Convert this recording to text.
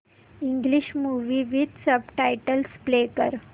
English movie with subtitles play कर